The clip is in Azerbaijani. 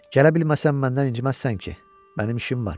Gələ bilməsəm məndən inciməzsən ki, mənim işim var.